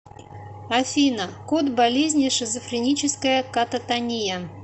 афина код болезни шизофреническая кататония